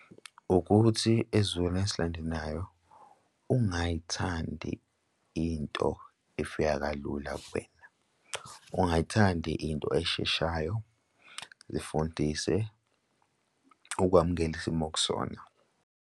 Ukuthi esizukulwaneni esilandelayo ungayithandi into efika kalula kuwena ungayithandi into esheshayo, zifundise ukwamukela isimo okusona.